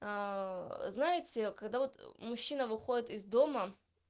знаете когда вот мужчина выходит из дома